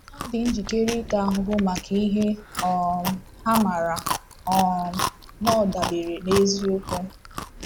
Ha dị njikere ịta ahụhụ maka ihe um ha maara um na ọ dabeere n’eziokwu.